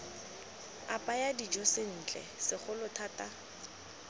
apaya dijo sentle segolo thata